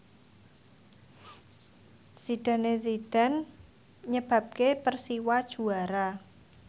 Zidane Zidane nyebabke Persiwa juara